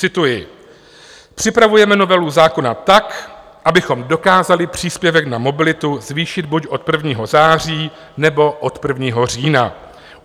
Cituji: "Připravujeme novelu zákona tak, abychom dokázali příspěvek na mobilitu zvýšit buď od 1. září, nebo od 1. října.